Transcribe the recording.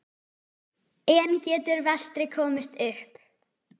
En getur Vestri komist upp?